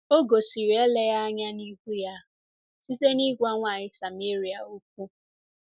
O gosiri eleghị anya n’ihu ya site n’ịgwa nwanyị Sameria okwu.